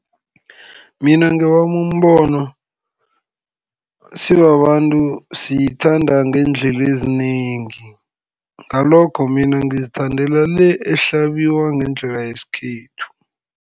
Mina ngowami umbono sibabantu sithanda ngeendlela ezinengi, ngalokho mina ngizithandela le ehlabiwa ngendlela yesikhethu.